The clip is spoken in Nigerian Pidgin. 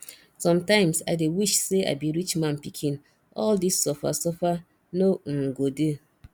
sometimes i dey wish say i be rich man pikin all dis suffer suffer no um go dey